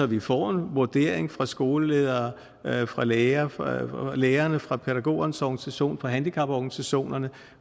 vi får en vurdering fra skoleledere fra lærerne fra lærerne fra pædagogernes organisationer fra handicaporganisationerne